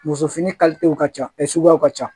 Muso fini ka ca suguyaw ka ca